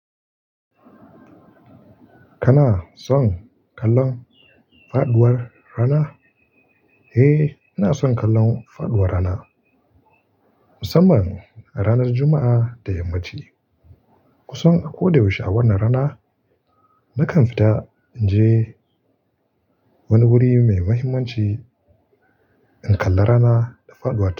Kana son kallon faɗuwar rana? Eh, ina son kallon faɗuwar rana. Musamman a ranar Juma'a da yammaci. Kusan a ko da yaushe a wannan rana, nakan fita in je wani wuri mai muhimmanci in kalla rana da faɗuwar ta.